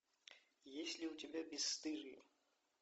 есть ли у тебя бесстыжие